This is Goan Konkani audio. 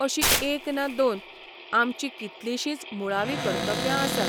अशीं एक ना दोन, आमचीं कितलीशींच मुळावीं कर्तव्यां आसात.